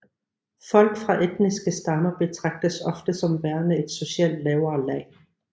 Folk fra etniske stammer betragtes ofte som værende et socialt lavere lag